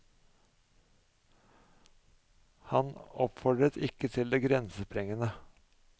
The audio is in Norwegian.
Han oppfordret ikke til det grensesprengende.